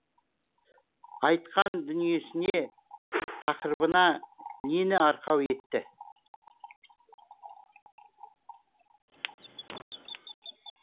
айтқан дүниесіне тақырыбына нені арқау етті